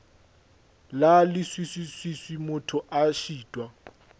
la leswiswi motho a šitwa